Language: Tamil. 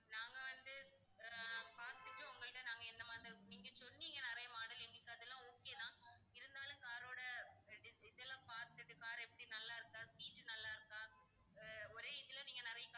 நாங்க வந்து ஆஹ் பாத்துட்டு உங்ககிட்ட நாங்க எந்த model நீங்க சொன்னீங்கன்னா நிறைய model எங்களுக்கு அதெல்லாம் okay தான் இருந்தாலும் car ரோட இதெல்லாம் பாத்துட்டு car எப்படி நல்லா இருக்கா seat நல்லா இருக்கா ஆஹ் ஒரே இதுல நீங்க நிறைய